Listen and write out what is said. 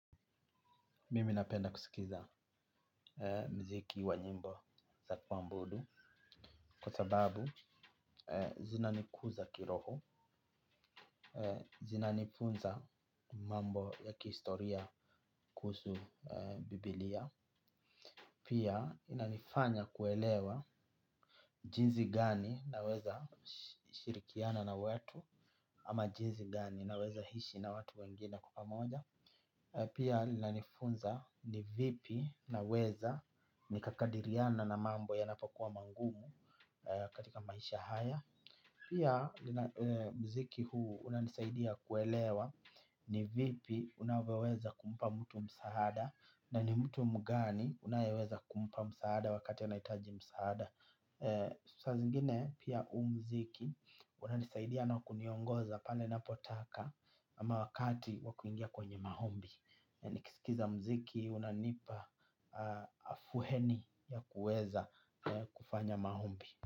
Mimi napenda kusikiza mziki wa nyimbo za kuambudu kwa sababu zinanikuza kiroho, zinanifunza mambo ya kihistoria kuhus bibilia. Pia inanifanya kuelewa jinsi gani naweza shirikiana na wetu. Ama jinsi gani naweza hishi na watu wengine kwa pamoja. Pia linanifunza ni vipi naweza nikakadiriana na mambo yanapokua mangumu katika maisha haya. Pia mziki huu unanisaidia kuelewa ni vipi unavyoweza kumpa mtu msaada na ni mtu mgani unayeweza kumpa msaada wakati anahitaji msaada. Saa zingine pia uu mziki unanisaidia na kuniongoza pale napotaka ama wakati wa kuingia kwenye mahombi nikisikiza mziki unanipa afueni ya kuweza kufanya maombi.